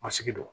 Masigi don